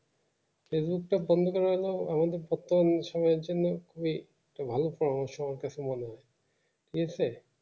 facebook টা বন্ড করা হলে আমাদের পক্ষে অনেক সময়ের জন্য খুবই ভালো পড়াশোনার কথা মনে হবে ঠিক আছে